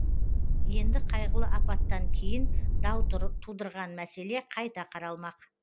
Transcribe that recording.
енді қайғылы апаттан кейін дау тудырған мәселе қайта қаралмақ